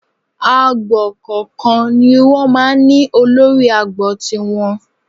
Agbo kọ̀ọ̀kan ni wọ́n máa ń ní olórí agbo tiwọn